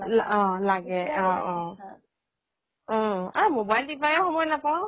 অহ লাগে অহ অহ অহ আৰু মোবাইল টিপায়ে সময় নাপাও